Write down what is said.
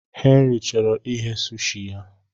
Henry chọrọ ighe sushi ya.